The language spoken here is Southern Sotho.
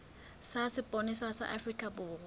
sa sepolesa sa afrika borwa